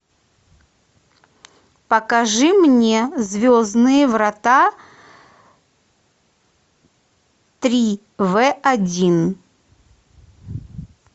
покажи мне звездные врата три в один